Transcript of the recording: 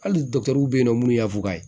Hali dɔkitɛriw bɛ yen nɔ minnu y'a fu kayi